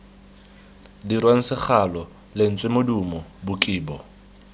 dirwang segalo lentswe modumo bokibo